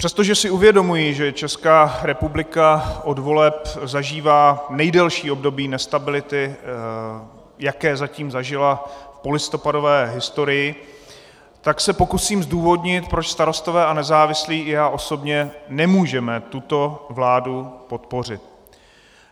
Přestože si uvědomuji, že Česká republika od voleb zažívá nejdelší období nestability, jaké zatím zažila v polistopadové historii, tak se pokusím zdůvodnit, proč Starostové a nezávislí i já osobně nemůžeme tuto vládu podpořit.